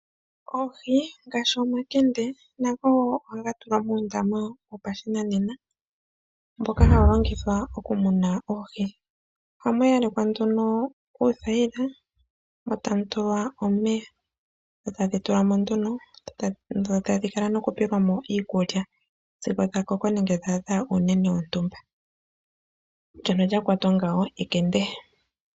Oohi ngaashi omakende nago ohaga tulwa muundama wopashinanena mboka hawu longithwa oku muna oohi. Ohamu yalekwa nduno uuthayila mo tamu tulwa omeya etadhi tulwa mo nduno dho tadhi kala nokupeyelwa mo iikulya sigo dha koko nenge dha adha uunene wontumba. Ndyono lya kwatwa ngawo ekende.